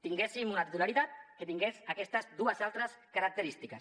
tinguéssim una titularitat que tingués aquestes dues altres característiques